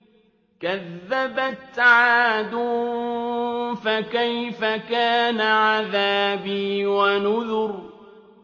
كَذَّبَتْ عَادٌ فَكَيْفَ كَانَ عَذَابِي وَنُذُرِ